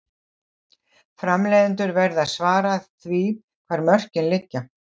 Framleiðendur verða að svara því hvar mörkin liggja.